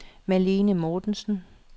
Malene Mortensen